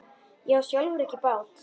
Ég á sjálfur ekki bát.